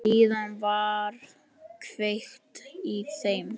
Síðan var kveikt í þeim.